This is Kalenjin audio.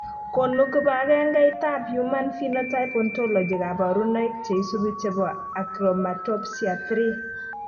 Konu kibagengeitab human phenotype ontology kaborunoik cheisubi chebo achromatopsia 3?